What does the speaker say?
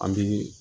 An bi